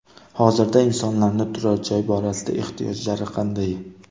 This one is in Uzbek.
Hozirda insonlarning turar joy borasida ehtiyojlari qanday?